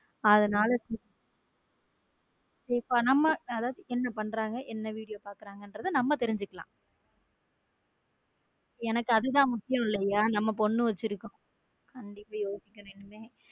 அதனால sister நம்ம அதாவது என்ன பண்றாங்க என்ன video பாக்குறாங்கறத அம்மா தெரிஞ்சுக்கலாம எனக்கு அது தான் முக்கியம் இல்லையா நம்ம பொண்ணு வச்சிருக்கோம கண்டிப்பா யோசிக்கணும் இனிமே.